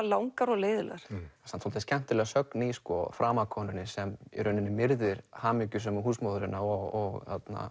langar og leiðinlegar samt svolítið skemmtileg sögn í framakonunni sem í rauninni myrðir hamingjusömu húsmóðurina og